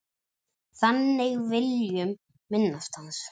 Þannig viljum minnast hans.